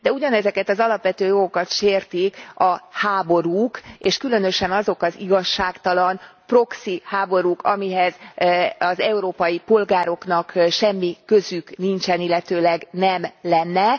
De ugyanezeket az alapvető jogokat sértik a háborúk, és különösen azok az igazságtalan, proxy háborúk, amihez az európai polgároknak semmi közük nincsen, illetőleg nem lenne.